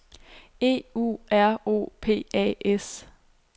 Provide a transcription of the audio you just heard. E U R O P A S